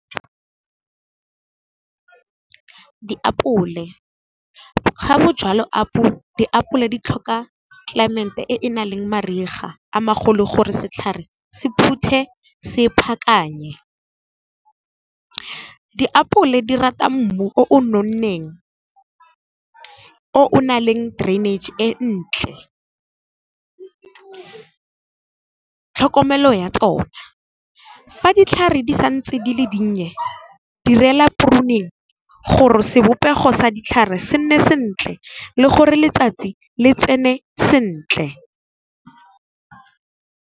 Diapole, ga o jala diapole di tlhoka climate e e nang le mariga a magolo gore setlhare se phuthe se phakanye. Diapole di rata mmu o o nonneng, o nang le drainage e ntle. Tlhokomelo ya tsona, fa ditlhare di sa ntse di le dinnye direla gore sebopego sa ditlhare se nne sentle le gore letsatsi le tsene sentle.